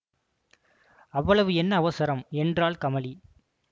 அவ்வளவு என்ன அவசரம் என்றாள் கமலி